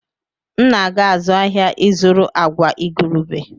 M na-aga azụ ahịa ịzụrụ agwa igurube.